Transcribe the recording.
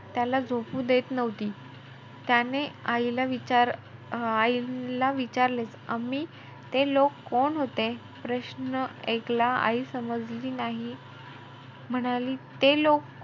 त्याला झोपू देत नव्हती. त्याने आईला विचार~ आईला विचारले ते लोक कोण होते? प्रश्न एकला आई समजला नाही. म्हणाली, ते लोक?